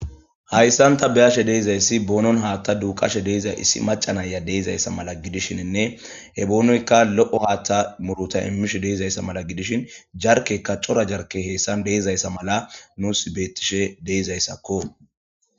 Haysan ta beyashe dizaysi bonon haatha duuqashe diza issi maca Naya de'izaysa mala gidishinne he boonoyka lo'o haatha muruta imishe dizaysa mala gidishin jarkeyka cora jarkey haysan dizaysa mala nusi beetishe de'izaysako.